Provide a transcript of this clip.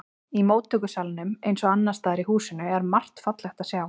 Í móttökusalnum eins og annars staðar í húsinu er margt fallegt að sjá.